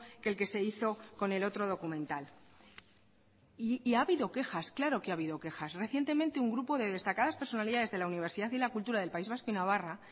que el que se hizo con el otro documental y ha habido quejas claro que ha habido quejas recientemente un grupo de destacadas personalidades de la universidad y la cultura del país vasco y navarra